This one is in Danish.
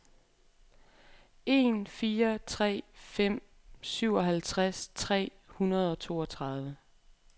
en fire tre fem syvoghalvtreds tre hundrede og toogtredive